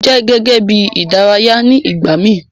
O jẹ gẹ́gẹ́ bí ìdárayá ni ìgbàmi